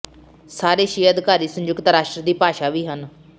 ਸਾਰੇ ਛੇ ਅਧਿਕਾਰੀ ਸੰਯੁਕਤ ਰਾਸ਼ਟਰ ਦੀ ਭਾਸ਼ਾ ਵੀ ਹਨ